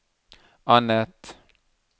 annet